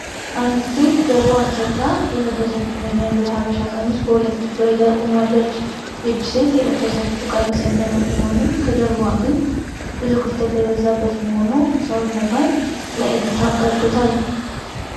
አንዲት ሴት ጀርባዋን ሰጥታ የለበሰችውን የሚያምር የሃበሻ ቀሚስ በሁለት እጇ ይዛ ቆማለች። ይህቺ ሴት የለበሰቺው ቀሚስ የሚያምር ቢሆንም ከጀርባዋ ግን ብዙ ክፍተት የበዛበት መሆኑ ሰውነቷን ለእይታ አጋልጦታል።